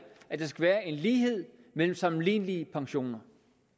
at der skal være en lighed mellem sammenlignelige pensioner